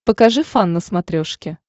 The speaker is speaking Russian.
покажи фан на смотрешке